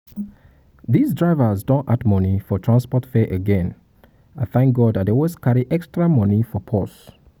dis drivers don add money for transport fare again thank god i thank god i dey always carry extra money for purse